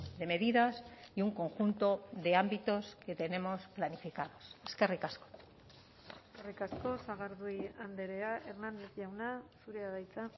de medidas y un conjunto de ámbitos que tenemos planificados eskerrik asko eskerrik asko sagardui andrea hernández jauna zurea da hitza